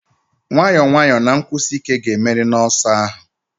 Nwayọọ nwayọọ na nkwụsi ike ga-emeri n'ọsọ ahụ.